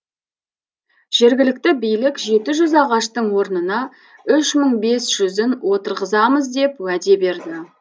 жергілікті билік жеті жүз ағаштың орнына үш мың бес жүзін отырғызамыз деп уәде берді